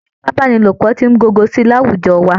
Ìfipábánilòpọ̀ ti ń gogo sí i láwùjọ wa